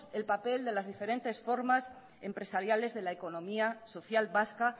el papel de las diferentes formas empresariales de la economía social vasca